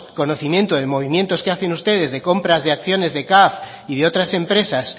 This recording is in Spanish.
conocimiento de movimientos que hacen ustedes de compras de acciones de caf y de otras empresas